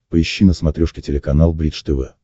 поищи на смотрешке телеканал бридж тв